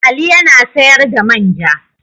Ali ya na sayar da man ja.